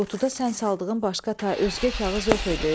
Qutuda sən saldığın başqa özgə kağız yox idi?